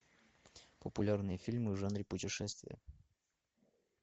популярные фильмы в жанре путешествия